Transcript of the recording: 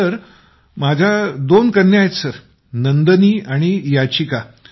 सुनीलः माझ्या दोन कन्या आहेत नंदनी आणि याचिका